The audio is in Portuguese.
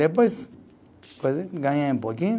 Depois, ganhei um pouquinho.